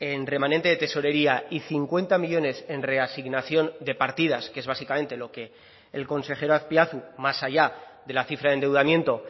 en remanente de tesorería y cincuenta millónes en reasignación de partidas que es básicamente lo que el consejero azpiazu más allá de la cifra de endeudamiento